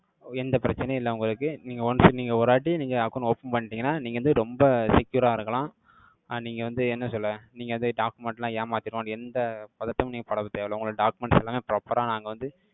எந்த பிரச்சனையும் இல்லை உங்களுக்கு. நீங்க once நீங்க ஒரு வாட்டி, நீங்க account open பண்ணிட்டீங்கன்னா, நீங்க வந்து, ரொம்ப secure ஆ இருக்கலாம். அஹ் நீங்க வந்து என்ன சொல்ல, நீங்க வந்து document லாம் ஏமாத்திடுவாங்கன்னு, எந்த பதட்டமும், நீங்க படத் தேவையில்லை. உங்களோட documents எல்லாமே, proper ஆ நாங்க வந்து,